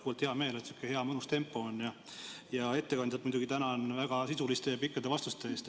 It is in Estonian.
Ka mul on hea meel, et meil sihuke hea mõnus tempo on, ja ma muidugi tänan ettekandjat väga sisuliste ja pikkade vastuste eest.